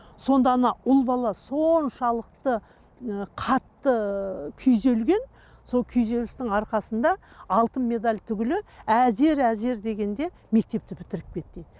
сонда ана ұл бала соншалықты ы қатты күйзелген сол күйзелістің арқасында алтын медаль түгілі әзер әзер дегенде мектепті бітіріп кетті дейді